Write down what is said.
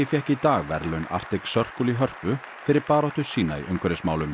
fékk í dag verðlaun Arctic Circle í Hörpu fyrir baráttu sína í umhverfismálum